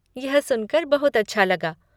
यह सुनकर बहुत अच्छा लगा।